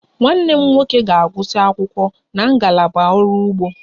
Nwanne m nwoke ga-agụsị akwụkwọ na ngalaba ọrụ ugbo